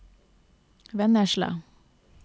Vennesla